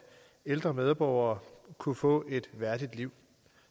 ældre medborgere kunne få et værdigt liv